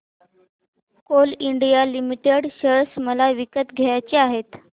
Coal India Limited share मला विकत घ्यायचे आहेत